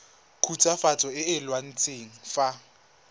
khutswafatso e e laotsweng fa